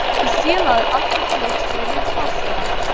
Hefur félagið aldrei flutt fleiri farþega